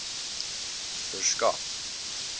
verskaf